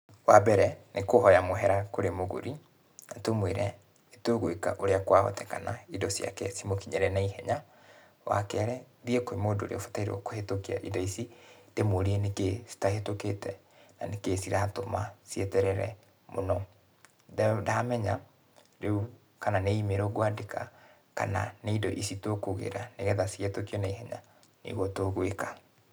Wambere, nĩ kũhoya mũhera kũrĩ mũgũri, na tũmwĩre nĩtũgũĩka ũrĩa kwahotekana indo ciake cimũkinyĩre naihenya. Wakerĩ, thiĩ kwĩ mũndũ ũrĩa ũbatairwo kũhĩtũkia indo ici, ndĩmũrie nĩkĩĩ citahĩtũkĩte, na nĩkĩĩ ciratũma cieterere mũno. Ndamenya rĩu kana nĩ imĩrũ ngwandĩka, kana nĩ indo ici tũkũgĩra nĩgetha cihĩtũkio naihenya, nĩguo tũgũĩka.